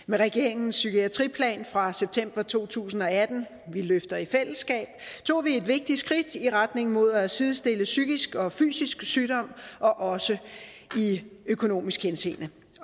med regeringens psykiatriplan fra september to tusind og atten vi løfter i fællesskab tog vi et vigtigt skridt i retning mod at sidestille psykisk og fysisk sygdom også i økonomisk henseende